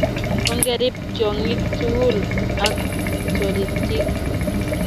ongerib tyong'ik tugul ak toritik